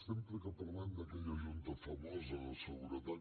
sempre que parlem d’aquella junta famosa de seguretat